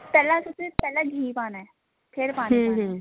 ਪਹਿਲਾਂ ਅਸੀਂ ਉਸ ਵਿੱਚ ਪਹਿਲਾਂ ਅਸੀਂ ਘੀ ਪਾਣਾ ਫੇਰ ਪਾਣੀ ਪਾਣਾ